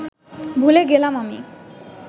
ভুলে গেলাম আমি